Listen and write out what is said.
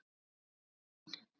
spurði mamma þín.